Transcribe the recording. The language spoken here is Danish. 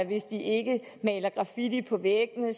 hvis de ikke maler graffiti på væggene det